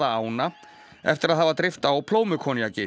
ána eftir að hafa dreypt á